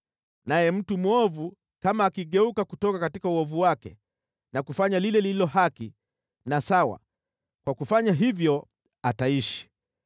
Naye mtu mwovu kama akigeuka kutoka uovu wake na kufanya lile lililo haki na sawa, kwa kufanya hivyo ataishi.